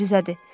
Möcüzədir.